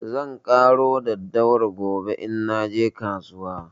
Zan ƙaro daddawar gobe in naje kasuwa.